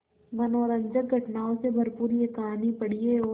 मनोरंजक घटनाओं से भरपूर यह कहानी पढ़िए और